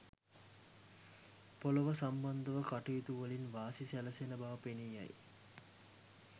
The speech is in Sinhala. පොළොව සම්බන්ධ කටයුතුවලින් වාසි සැලසෙන බව පෙනී යයි.